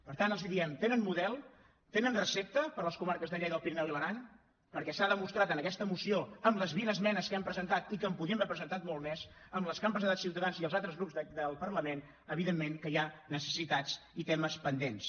per tant els diem tenen model tenen recepta per a les comarques de lleida el pirineu i l’aran perquè s’ha demostrat en aquest moció amb les vint esmenes que hem presentat i que en podíem haver presentat moltes més amb les que han presentat ciutadans i els altres grups del parlament evidentment que hi ha necessitats i temes pendents